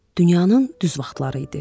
Dünyanın düz vaxtları idi.